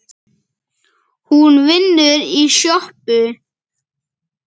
Hún vinnur í sjoppu